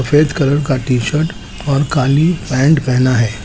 सफेद कलर का -T-shirt और काली पैंट पहना है।